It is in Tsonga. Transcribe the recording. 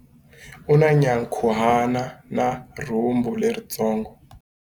U na nyankhuhana na rhumbu leritsongo.